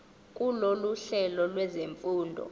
kulolu hlelo lwezifundo